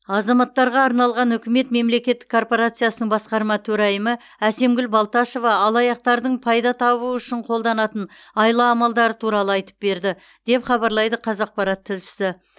азаматтарға арналған үкімет мемлекеттік корпорациясының басқарма төрайымы әсемгүл балташева алаяқтардың пайда табу үшін қолданатын айла амалдары туралы айтып берді деп хабарлайды қазақпарат тілшісі